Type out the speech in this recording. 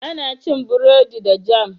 Ana cin burodi da jam.